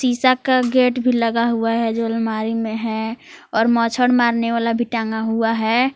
शीशा का गेट भी लगा हुआ है जो अलमारी मे है और मच्छर मारने वाला भी टंगा हुआ है।